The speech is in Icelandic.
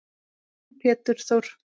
Þinn Pétur Þór.